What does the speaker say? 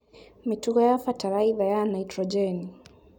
Mĩtugo ya bataraitha ya naitrojeni